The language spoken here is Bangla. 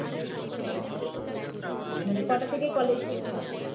মানে কটা থেকে college শুরু হয়